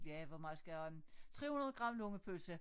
Ja hvor meget skal jeg have af dem 300 gram lungepølse